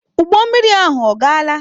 Ụgbọ mmiri ahụ agaala?